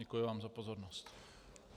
Děkuji vám za pozornost.